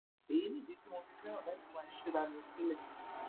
èyí nìdí tí mo fi fẹràn láti máa síra mi sílẹ